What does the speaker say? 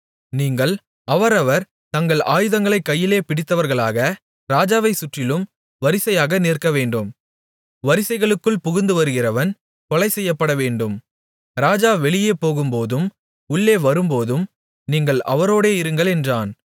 நீங்கள் அவரவர் தங்கள் ஆயுதங்களைக் கையிலே பிடித்தவர்களாக ராஜாவைச் சுற்றிலும் வரிசையாக நிற்கவேண்டும் வரிசைகளுக்குள் புகுந்துவருகிறவன் கொலை செய்யப்படவேண்டும் ராஜா வெளியே போகும்போதும் உள்ளே வரும்போதும் நீங்கள் அவரோடே இருங்கள் என்றான்